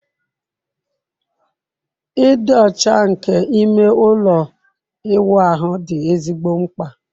Ịdị ọcha nke ime ụlọ ịwụ ahụ dị ezigbo mkpa